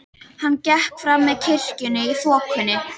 Hann gekk fram með kirkjunni í þokunni.